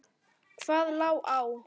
Hvað lá á?